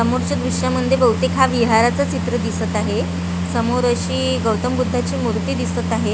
समोरच्या दृश्यामध्ये बहुतेक हा विहाराचा चित्र दिसत आहे समोर अशी गौतम बुद्धाची मूर्ती दिसत आहे.